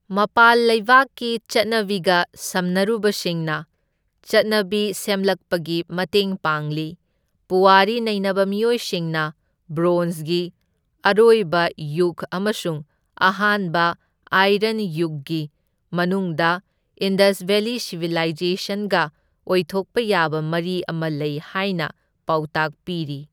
ꯃꯄꯥꯜ ꯂꯩꯕꯥꯛꯀꯤ ꯆꯠꯅꯕꯤꯒ ꯁꯝꯅꯔꯨꯕꯁꯤꯡꯅ ꯆꯠꯅꯕꯤ ꯁꯦꯝꯂꯛꯄꯒꯤ ꯃꯇꯦꯡ ꯄꯥꯡꯂꯤ, ꯄꯨꯋꯥꯔꯤ ꯅꯩꯅꯕ ꯃꯤꯑꯣꯏꯁꯤꯡꯅ ꯕ꯭ꯔꯣꯟꯖꯒꯤ ꯑꯔꯣꯏꯕ ꯌꯨꯒ ꯑꯃꯁꯨꯡ ꯑꯍꯥꯟꯕ ꯑꯥꯏꯔꯟ ꯌꯨꯒꯒꯤ ꯃꯅꯨꯡꯗ ꯏꯟꯗꯁ ꯚꯦꯂꯤ ꯁꯤꯚꯤꯂꯥꯏꯖꯦꯁꯟꯒ ꯑꯣꯏꯊꯣꯛꯄ ꯌꯥꯕ ꯃꯔꯤ ꯑꯃ ꯂꯩ ꯍꯥꯏꯅ ꯄꯥꯎꯇꯥꯛ ꯄꯤꯔꯤ꯫